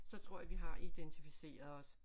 Så tror jeg vi har identificeret os